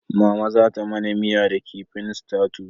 Mama za ta mana miya da kifin tatus